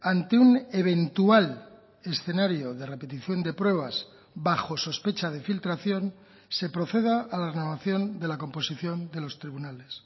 ante un eventual escenario de repetición de pruebas bajo sospecha de filtración se proceda a la renovación de la composición de los tribunales